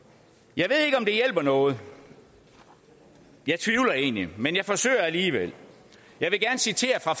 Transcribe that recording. jeg ved ikke om det hjælper noget og jeg tvivler egentlig men jeg forsøger alligevel jeg vil gerne citere fra